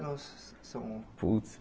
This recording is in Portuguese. Não sã são Putz